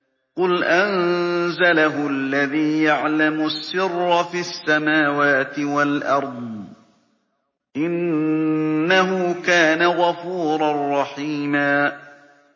قُلْ أَنزَلَهُ الَّذِي يَعْلَمُ السِّرَّ فِي السَّمَاوَاتِ وَالْأَرْضِ ۚ إِنَّهُ كَانَ غَفُورًا رَّحِيمًا